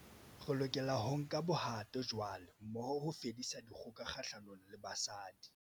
Re lokela ho nka bohato jwale, mmoho, ho fedisa dikgoka kgahlanong le basadi